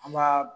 An b'a